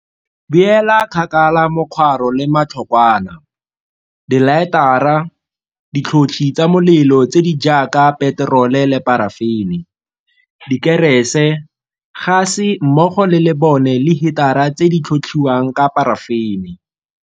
Beela kgakala mokgwaro le matlhokwana, dilaetara, ditlhotlhi tsa molelo tse di jaaka peterole le parafene, dikerese, gase mmogo le lebone le hitara tse di tlhotlhiwang ka parafene.